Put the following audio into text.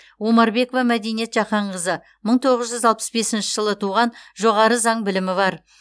омарбекова мәдениет жақанқызы мың тоғыз жүз алпыс бесінші жылы туған жоғары заң білімі бар